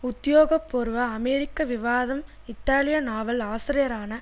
உத்தியோக பூர்வ அமெரிக்க விவாதம் இத்தாலிய நாவல் ஆசிரியரான